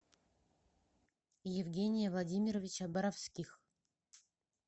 евгения владимировича боровских